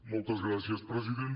moltes gràcies president